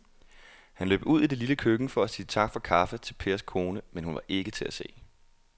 Han løb ud i det lille køkken for at sige tak for kaffe til Pers kone, men hun var ikke til at se.